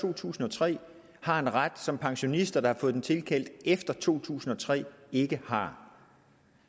to tusind og tre har en ret som pensionister der har fået den tilkendt efter to tusind og tre ikke har